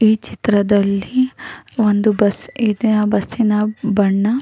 ಈ ಚಿತ್ರದಲ್ಲಿ ಒಂದು ಬಸ್ ಇದೆ ಆ ಬಸ್ಸಿನ ಬಣ್ಣ --